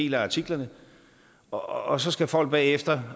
i artiklerne og og så skal folk bagefter